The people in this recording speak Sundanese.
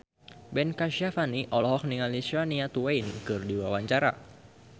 Ben Kasyafani olohok ningali Shania Twain keur diwawancara